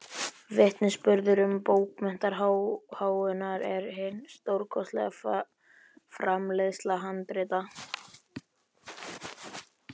Vitnisburður um bókmenntaáhugann er hin stórkostlega framleiðsla handrita.